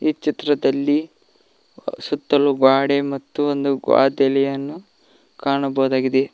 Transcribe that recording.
ಈ ಚಿತ್ರದಲ್ಲಿ ಸುತ್ತಲು ಗ್ವಾಡೆ ಮತ್ತು ವಾದಲ್ಲಿಯನ್ನು ಕಾಣಬಹುದಾಗಿದೆ.